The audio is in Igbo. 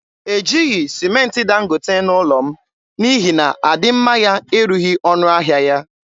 Ejighị sịmentị Dangote n’ụlọ m n’ihi na adịmma ya erughị ọnụ ahịa ya.